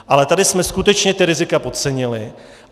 Ale tady jsme skutečně ta rizika podcenili.